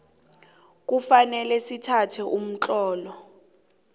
kufanele sithathe umtlolo